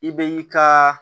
I bɛ i ka